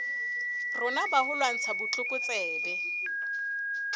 rona ba ho lwantsha botlokotsebe